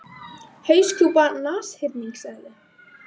Hauskúpa nashyrningseðlu.